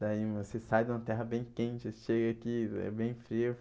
Daí você sai de uma terra bem quente, você chega aqui e é bem frio.